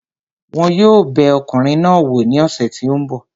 Wọn yóò bẹ ọkùnrin náà wò ní ọ̀sẹ̀ tí ó ń bọ̀